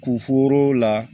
Kuforo la